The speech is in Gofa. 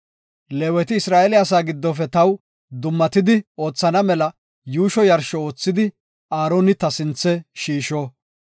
Leeweti Isra7eele asaa giddofe taw dummatidi oothana mela yuusho yarsho oothidi Aaroni ta sinthe shiisho.